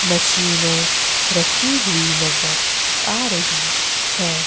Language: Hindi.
मशीनें रखी हुई नजर आ रही है।